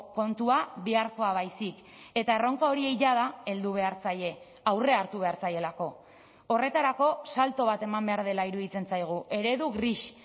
kontua biharkoa baizik eta erronka horiek jada heldu behar zaie aurre hartu behar zaielako horretarako salto bat eman behar dela iruditzen zaigu eredu gris